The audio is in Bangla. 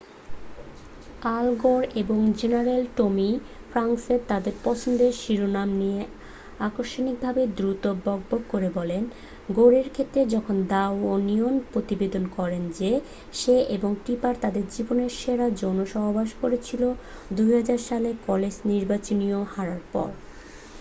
আল গোর এবং জেনারেল টমি ফ্র্যাঙ্কস তাদের পছন্দের শিরোনাম নিয়ে আকস্মিকভাবেই দ্রুত বকবক করে বলেন গোরের ক্ষেত্রে যখন দ্যা ওনিয়ন প্রতিবেদন করে যে সে এবং টিপার তাদের জীবনের সেরা যৌনসহবাস করেছিল ২০০০ সালে কলেজ নির্বাচনী হারার পর ।